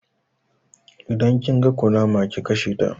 Idan kin ga kunama ki kasheta